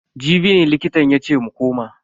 Jibi ne likitan yace mu koma.